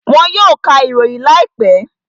Wọn yóò ka ìròyìn láìpẹ́